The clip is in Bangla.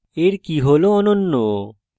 এর কী hash অনন্য